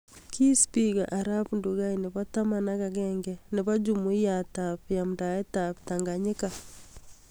Kii spika arap Ndugai nebo taman ak agenge nebo jumuiyait ab yamdaet ab Tanganyika